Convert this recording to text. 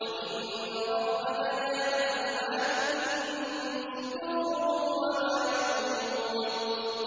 وَإِنَّ رَبَّكَ لَيَعْلَمُ مَا تُكِنُّ صُدُورُهُمْ وَمَا يُعْلِنُونَ